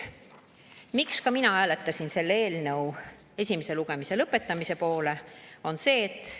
" Miks mina hääletasin selle eelnõu esimese lugemise lõpetamise poolt?